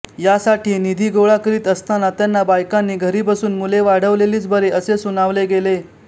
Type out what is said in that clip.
यासाठी निधी गोळा करीत असताना त्यांना बायकांनी घरी बसून मुले वाढविलेलीच बरी असे सुनावले गेले